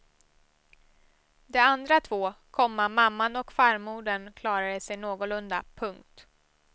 De andra två, komma mamman och farmodern klarade sig någorlunda. punkt